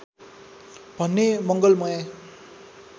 भन्ने मङ्गलमय